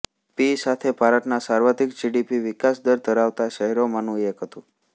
પી સાથે ભારતનાં સર્વાધિક જી ડી પી વિકાસ દર ધરાવતા શહેરોમાંનું એક હતું